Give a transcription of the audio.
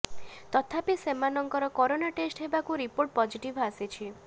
ତଥାପି ସେମାନଙ୍କର corona test ହେବାରୁ ରିପୋର୍ଟ ପଜିଟିଭ ଆସିଛି